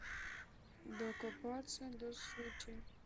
докопаться до сути